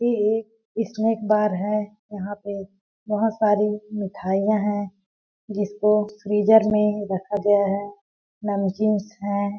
ये एक snack bar है यहाँ पे बहुत सारी मिठाईयाँ है जिसको फ्रीजर में रखा गया है नमकीन्स हैं ।